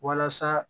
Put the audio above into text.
Walasa